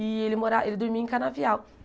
E ele mora ele dormia em Canavial.